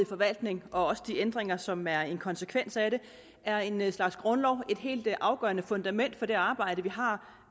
forvaltningen og også de ændringer som er en konsekvens af det er en slags grundlov et helt afgørende fundament for det arbejde vi har